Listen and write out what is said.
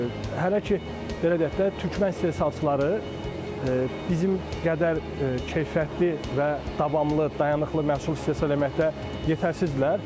Hələ ki, belə deyək də, türkman istehsalçıları bizim qədər keyfiyyətli və davamlı, dayanıqlı məhsul istehsal etməkdə yetərsizdirlər.